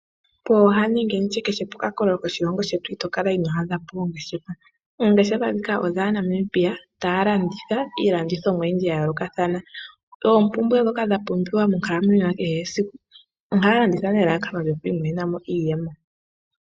Pooha nenge nditye kehe poka koololo koshilongo shetu ito kala inoo adha po ongeshefa. Oongeshefa dhika odhaaNamibia taya landitha iilandithomwa oyindji ya yoolokathana. Oompumbwe dhoka dha pumbiwa monkalamwenyo ya kehe esiku. Ohaya landitha nelalakano lyoku imonena mo iiyemo.